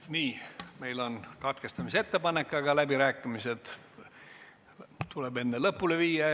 Nii, meil on katkestamisettepanek, aga läbirääkimised tuleb enne lõpule viia.